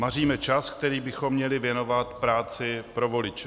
Maříme čas, který bychom měli věnovat práci pro voliče.